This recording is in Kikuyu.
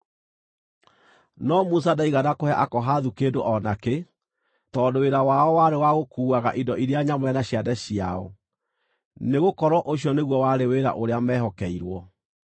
No Musa ndaigana kũhe Akohathu kĩndũ o nakĩ, tondũ wĩra wao warĩ wa gũkuuaga indo iria nyamũre na ciande ciao, nĩgũkorwo ũcio nĩguo warĩ wĩra ũrĩa meehokeirwo.